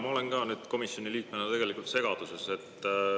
Ma olen ka nüüd komisjoni liikmena segaduses.